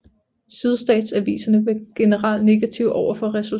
Sydstatsaviserne var generelt negative overfor resultatet